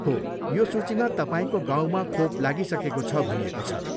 हो, यो सूचीमा तपाईँको गाउँमा खोप लागिसकेको छ भनिएको छ।